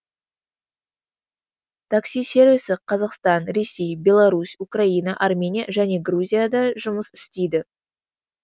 такси сервисі қазақстан ресей беларусь украина армения және грузияда жұмыс істейді